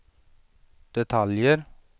detaljer